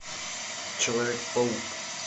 человек паук